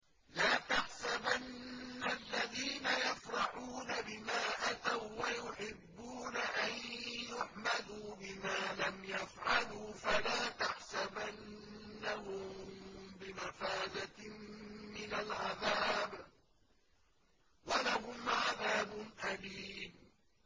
لَا تَحْسَبَنَّ الَّذِينَ يَفْرَحُونَ بِمَا أَتَوا وَّيُحِبُّونَ أَن يُحْمَدُوا بِمَا لَمْ يَفْعَلُوا فَلَا تَحْسَبَنَّهُم بِمَفَازَةٍ مِّنَ الْعَذَابِ ۖ وَلَهُمْ عَذَابٌ أَلِيمٌ